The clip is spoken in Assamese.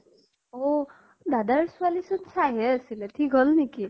অহ। দাদাৰ ছোৱালী চোন চাইহে আছিলে, থিক হল নেকি?